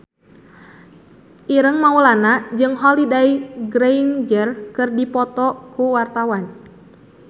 Ireng Maulana jeung Holliday Grainger keur dipoto ku wartawan